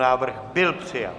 Návrh byl přijat.